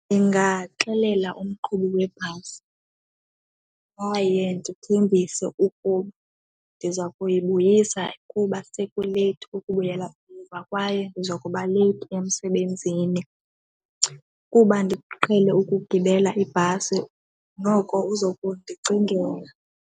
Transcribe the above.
Ndingaxelela umqhubi webhasi kwaye ndithembise ukuba ndiza kuyibuyisa kuba sekuleythi ukubuyela umva kwaye ndiza kuba leyithi emsebenzini. Kuba ndiqhele ukugibela ibhasi noko uza kundicingela.